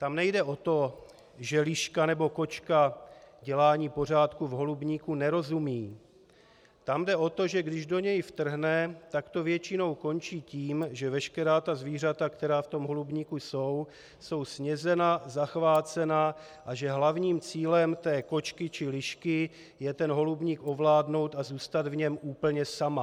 Tam nejde o to, že liška nebo kočka dělání pořádku v holubníku nerozumí, tam jde o to, že když do něj vtrhne, tak to většinou končí tím, že veškerá ta zvířata, která v tom holubníku jsou, jsou snědena, zachvácena a že hlavním cílem té kočky či lišky je ten holubník ovládnout a zůstat v něm úplně sama.